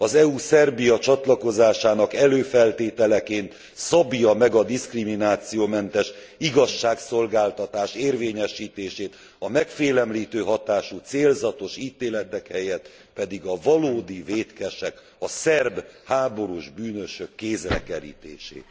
Az EU Szerbia csatlakozásának előfeltételeként szabja meg a diszkriminációmentes igazságszolgáltatás érvényesítését, a megfélemlítő hatású célzatos ítéletek helyett pedig a valódi vétkesek, a szerb háborús bűnösök kézre kerítését.